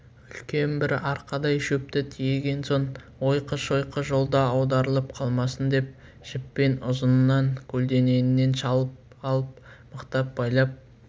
үлкен бір арқадай шөпті тиеген соң ойқы-шойқы жолда аударылып қалмасын деп жіппен ұзынынан көлденеңінен шалып алып мықтап байлап